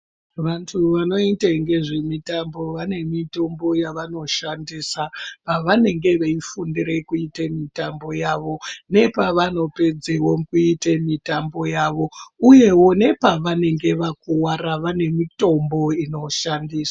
Vantu vanoite ngezvemitambo vane mitombo yavanoshandisa pavanenge veifundira kuite mitambo yavo, nepavanopedzewo kuite mitambo yavo. Uyewo nepavanenge vakuvara vane mitombo inoshandiswa.